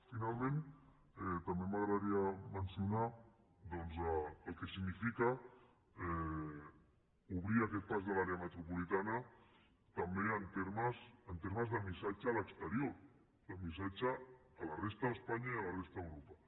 finalment també m’agradaria mencionar el que significa obrir aquest pas de l’àrea metropolitana també en termes de missatge a l’exterior de missatge a la resta d’espanya i a la resta d’europa